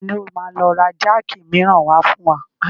Tani ó máa lọ ra jáàkì miran wá fún wa?